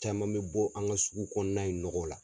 Caman bɛ bɔ an ka sugu kɔnɔna in nɔgɔ la.